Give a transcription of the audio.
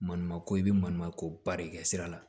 Maɲumako i bɛ maɲumako ba de kɛ sira la